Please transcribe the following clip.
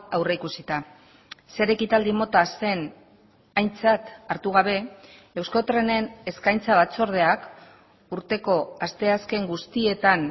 aurrikusita zer ekitaldi mota zen aintzat hartu gabe euskotrenen eskaintza batzordeak urteko asteazken guztietan